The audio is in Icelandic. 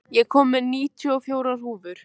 Júní, ég kom með níutíu og fjórar húfur!